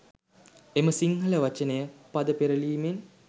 එම සිංහල වචනය පද පෙරළීමෙන්